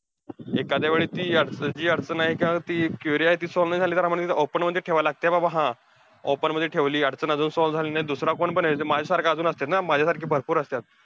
एखाद्या वेळी ती जी अडचण आहे किंवा ती query आहे, ती solve नाही झाली, तरआम्हांला तिथे open मध्ये ठेवायला लागतीया. बाबा हा open मध्ये ठेवलीये अडचण अजून solve झालेली नाही. दुसरा कोणपण येईल. तिथे माझ्यासारखे अजून असत्यात ना, माझ्यासारखे भरपूर असत्यात.